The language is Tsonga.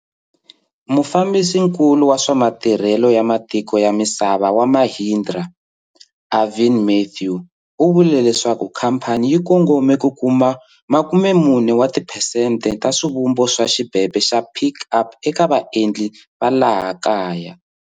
Mufambisinkulu wa swa Matirhelo wa Matiko ya Misava wa Mahindra, Arvind Mathew u vule leswaku khamphani yi kongome ku kuma 40 wa tiphesente ta swivumbo swa xibebe xa Pik Up eka vaendli va laha kaya.